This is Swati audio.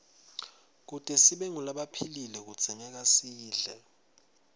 kute sibe ngulabaphilile kudzingekasidle